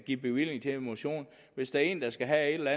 give bevilling til motion og hvis der er en der skal have